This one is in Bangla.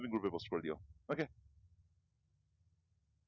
তুমি okay group এ post করে দিয়ো